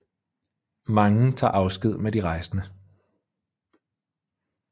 Mange tager afsked med de rejsende